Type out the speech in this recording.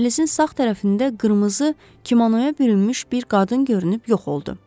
Dəhlizin sağ tərəfində qırmızı kimonoya bürünmüş bir qadın görünüb yox oldu.